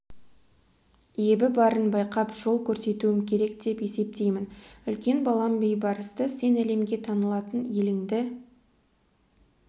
ебі барын байқап жол көрсетуім керек деп есептеймін үлкен балам бейбарысты сен әлемге танылатын еліңді